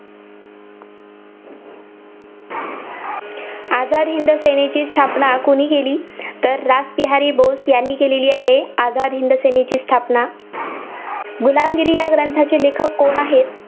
आझाद हिंद सेनेची स्थापना कुणी केली? तर रासबिहारी बोस यांनी केली आहे, आझाद हिंद सेनेची स्थापना. गुलामगिरी या ग्रंथाचे लेखक कोण आहेत?